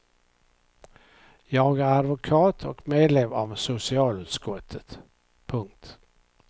Jag är advokat och medlem av socialutskottet. punkt